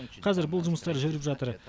қазір бұл жұмыстар жүріп жатыр